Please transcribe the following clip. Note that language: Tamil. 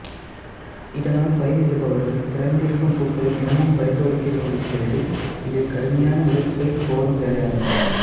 இதனால் பயிரிடுபவர்கள் திறந்திருக்கும் பூக்களை தினமும் பரிசோதிக்க வேண்டியிருக்கிறது இது கடுமையான உழைப்பைக் கோரும் வேலையாகும்